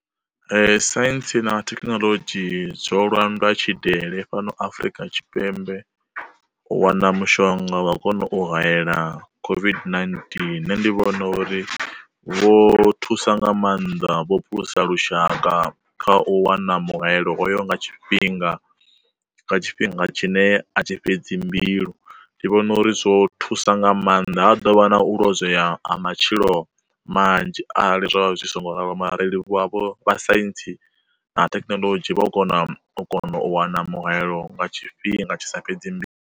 Science na Thekinoḽodzhi dzo landwa tshidele fhano Afrika Tshipembe, u wana mushonga wa u kona u hayela COVID-19 nṋe ndi vhona uri vho thusa nga maanḓa vho phulusa lushaka kha u wana muhayelo hoyo nga tshifhinga nga tshifhinga tshine a thi fhedzi mbilu. Ndi vhona uri zwo thusa nga maanḓa ha dovha na u lozwea ha matshilo manzhi arali zwavha zwi songo ralo mara ri livhuwa vho vhasaintsi na Thekinoḽodzhi vho u kona u kono u wana muhayelo nga tshifhinga tshisa fhedzi mbilu.